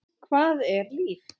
Hvað er líf?